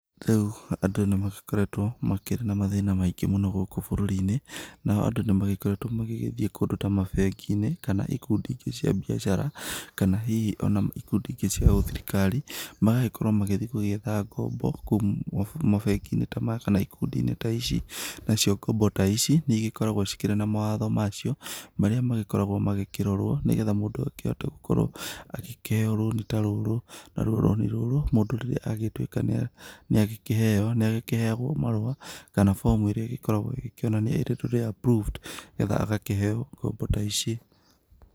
Rĩu andũ nĩmagĩkoretwo makĩrĩ na mathĩna maingĩ mũno gũkũ bũrũri-inĩ na o andũ nĩmagĩkoretwo magĩthiĩ kũndũ ta mabengi-inĩ kana ikundi cia biacara kana hihi o na ikundi ĩngĩ cia ũthirikari, magagĩkorwo magĩthiĩ gũgĩetha ngombo kũu mabengi-inĩ ta maya kana ikundi ta ici. Na cio ngombo ta ici nĩkoragwo cirĩ na mawatho macio marĩa makoragwo makĩrorwo nĩgetha mũndũ akĩhote gũkorwo agĩkĩheyo rũni ta rũrũ. Narwo rũni rũrũ mũndũ agĩtuĩka nĩ agĩkĩheyo nĩ agĩkĩheyagwo marũa kana bomu ĩrĩa igĩkoragwo ĩkĩonania ĩrĩtwo nĩ approved nĩgetha agakĩheyo ngombo ta ici.